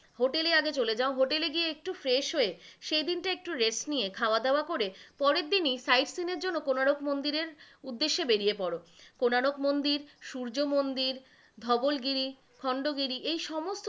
Hotel এ আগে চলে যাও, hotel এ গিয়ে একটু fresh হয়ে, সেইদিন টা একটু rest নিয়ে, খাওয়া দাওয়া করে, পরেরদিনই sight seeing এর জন্য কোনারক মন্দিরের উদ্যেশ্যে বেরিয়ে পরো, কোনারক মন্দির, সূর্য মন্দির, ধবলগিরি, খন্ডগিরি এই সমস্ত,